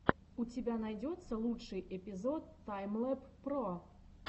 у тебя найдется лучший эпизод таймлэб про